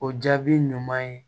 O jaabi ɲuman ye